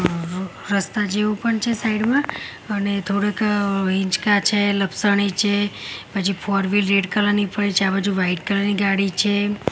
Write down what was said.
જેવુ પણ છે સાઇડ માં અને થોડુક હિંચકા છે લપસણી છે પછી ફોર વ્હીલ રેડ કલર ની પડી છે આ બાજુ વ્હાઇટ કલર ની ગાડી છે.